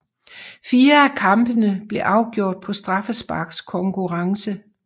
Fire af kampene blev afgjort på straffesparkskonkurrence